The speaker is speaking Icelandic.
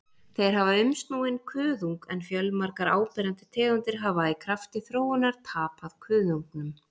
Þeir hafa umsnúinn kuðung en fjölmargar áberandi tegundir hafa í krafti þróunar tapað kuðungnum.